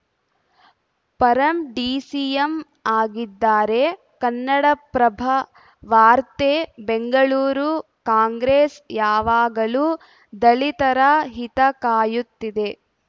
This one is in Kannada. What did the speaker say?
ಪರಂ ಡಿಸಿಎಂ ಆಗಿದ್ದಾರೆ ಕನ್ನಡಪ್ರಭ ವಾರ್ತೆ ಬೆಂಗಳೂರು ಕಾಂಗ್ರೆಸ್‌ ಯಾವಾಗಲೂ ದಲಿತರ ಹಿತ ಕಾಯುತ್ತಿದೆ